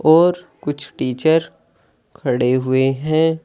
और कुछ टीचर खड़े हुए हैं।